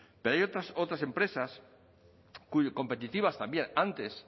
pero hay otras empresas competitivas también antes